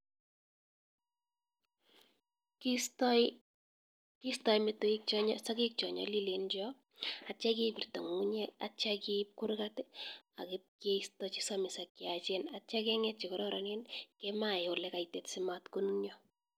Kiistai metoek sokek chanyalilen atya kibirta ng'ung'unyek atya kiip kurkat keista chesamisis ak chayachen atya keng'et chekararanen kemae ole kaitit simat konunia.